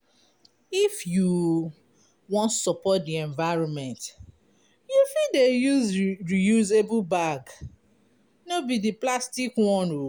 If you wan support di environment you fit dey use reusable bag, no be di plastic one.